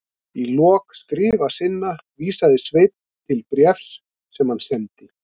Í lok skrifa sinna vísaði Sveinn til bréfs sem hann sendi